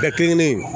Bɛɛ kelen kelen